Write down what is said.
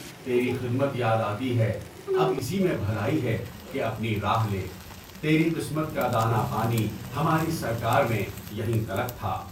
تیری خدمت یاد آتی ہے اب اسی میں بھلائی ہے کہ اپنی راہ لے، تیری قسمت کا دانا پانی ہماری سرکار میں یہیں تلک تھا۔